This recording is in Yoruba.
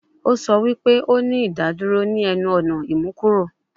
O sọ wi pe o ni idaduro ni ẹnu-ọna imukuro